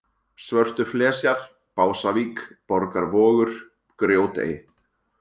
Svörtuflesjar, Básavík, Borgarvogur, Grjótey